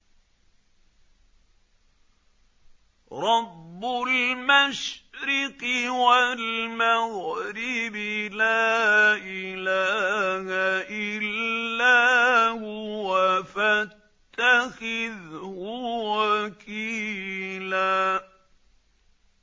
رَّبُّ الْمَشْرِقِ وَالْمَغْرِبِ لَا إِلَٰهَ إِلَّا هُوَ فَاتَّخِذْهُ وَكِيلًا